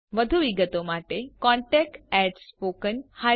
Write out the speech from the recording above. વધુ વિગતો માટે contactspoken tutorialorg પર સંપર્ક કરો